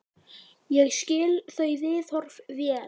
Ég skil þau viðhorf vel.